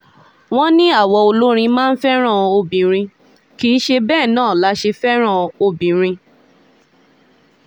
wọ́n ní àwa olórin máa ń fẹ́ràn obìnrin kì í ṣe bẹ́ẹ̀ náà la ṣe fẹ́ràn obìnrin